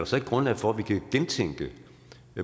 så ikke grundlag for at vi kan gentænke